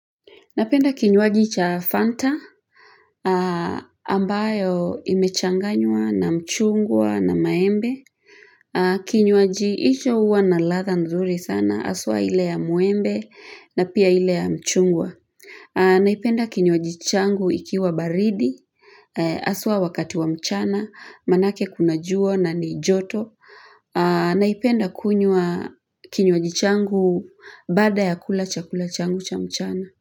Napenda kinywaji cha Fanta ambayo imechanganywa na mchungwa na maembe. Kinywaji icho hua na ladha nzuri sana haswa ile ya mwembe na pia ile ya mchungwa. Naipenda kinyuwaji changu ikiwa baridi aswa wakati wa mchana manake kunajua na ni joto. Naipenda kunywa kinywaji changu bada ya kula chakula changu cha mchana.